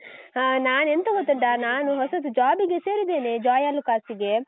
ಹಾ. ನಾನ್ ಎಂಥ ಗೊತ್ತುಂಟಾ? ನಾನು ಹೊಸತು job ಗೆ ಸೇರಿದ್ದೇನೆ ಜೋಯಾಲುಕ್ಕಾಸ್ಗೆ.